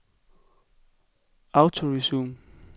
autoresume